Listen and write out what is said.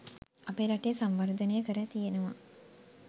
අපේ රටේ සංවර්ධනය කර තියෙනවා.